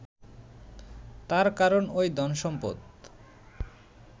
তার কারণ ওই ধনসম্পদ